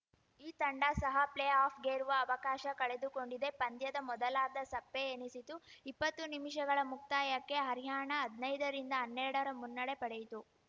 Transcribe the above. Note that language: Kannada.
ಈ ತಂಡ ಸಹ ಪ್ಲೇಆಫ್‌ಗೇರುವ ಅವಕಾಶ ಕಳೆದುಕೊಂಡಿದೆ ಪಂದ್ಯದ ಮೊದಲಾರ್ಧ ಸಪ್ಪೆ ಎನಿಸಿತು ಇಪ್ಪತ್ತು ನಿಮಿಷಗಳ ಮುಕ್ತಾಯಕ್ಕೆ ಹರ್ಯಾಣ ಹದ್ನಾಯ್ದರಿಂದಹನ್ನೆರಡರ ಮುನ್ನಡೆ ಪಡೆಯಿತು